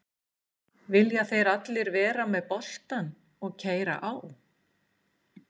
Vilja þeir allir vera með boltann og keyra á?